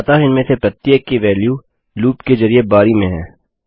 अतः इनमें से प्रत्येक की वेल्यू लूप के जरिये बारी में हैं